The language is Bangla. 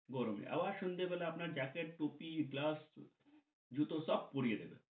গরমে, আবার শুনতে পেলে আপনার jacket টুপি, glass, জুতো সব পুড়িয়ে দেবে গরমে।